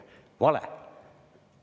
Vale!